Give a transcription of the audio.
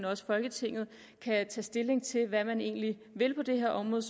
også folketinget kan tage stilling til hvad man egentlig vil på det her område